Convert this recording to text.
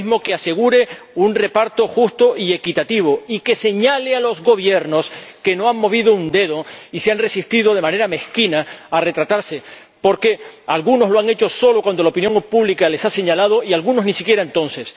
un mecanismo que asegure un reparto justo y equitativo, y que señale a los Gobiernos que no han movido un dedo y se han resistido de manera mezquina a retratarse ―porque algunos lo han hecho solo cuando la opinión pública les ha señalado y algunos ni siquiera entonces―.